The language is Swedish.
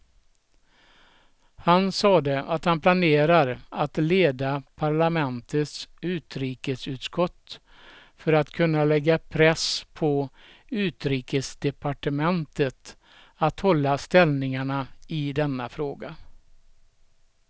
Han sade att han planerar att leda parlamentets utrikesutskott för att kunna lägga press på utrikesdepartementet att hålla ställningarna i denna fråga.